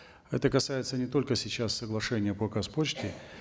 это касается не только сейчас соглашения по казпочте